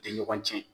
Tɛ ɲɔgɔn cɛn